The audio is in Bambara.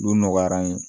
Olu nɔgɔyara an ye